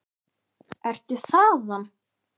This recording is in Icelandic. Ertu þaðan?